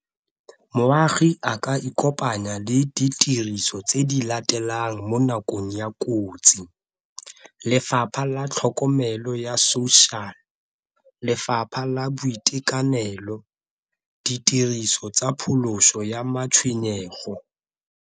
Moagi a ka ikopanya le ditiriso tse di latelang mo nakong ya kotsi, lefapha la tlhokomelo ya social, lefapha la boitekanelo, ditiriso tsa pholoso ya matshwenyego.